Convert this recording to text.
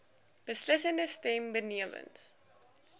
beslissende stem benewens